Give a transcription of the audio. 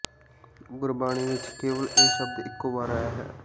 ਗੁਰਬਾਣੀ ਵਿਚ ਕੇਵਲ ਇਹ ਸ਼ਬਦ ਇਕੋ ਵਾਰ ਆਇਆ ਹੈ